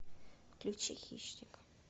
включи хищник